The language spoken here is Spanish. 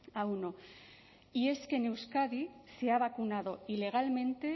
a uno y es que en euskadi se ha vacunado ilegalmente